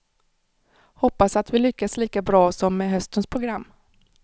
Hoppas att vi lyckas lika bra som med höstens program.